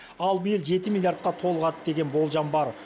ал биыл жеті миллиардқа толығады деген болжам бар